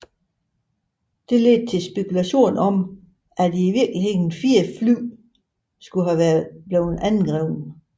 Hvilke ledte til spekulationer om at i virkeligheden fire fly skulle have været angrebet